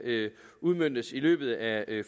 udmøntes i løbet af